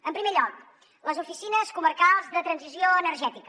en primer lloc les oficines comarcals de transició energètica